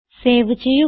save ചെയ്യുക